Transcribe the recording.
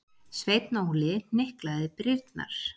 Sveinn Óli hnyklaði brýnnar.